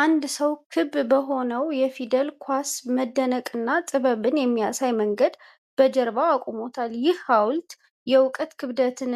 አንድ ሰው ክብ በሆነው የፊደላት ኳስ መደነቅንና ጥበብን በሚያሳይ መንገድ በጀርባው አቁሞታል። ይህ ሃውልት የእውቀት ክብደትን